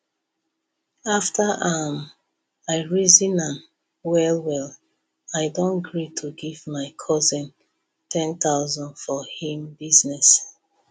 after um i reason am well well i don gree to give my cousin 10000 for him business